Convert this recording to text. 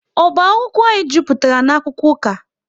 Oba akwụkwọ anyị jupụtara na-akwụkwọ ụka